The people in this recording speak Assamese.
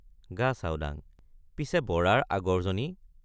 গাচাওডাঙ—পিছে বৰাৰ আগৰজনী?